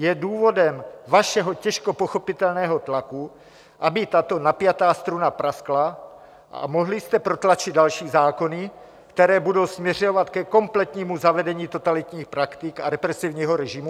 Je důvodem vašeho těžko pochopitelného tlaku, aby tato napjatá struna praskla a mohli jste protlačit další zákony, které budou směřovat ke kompletnímu zavedení totalitních praktik a represivního režimu?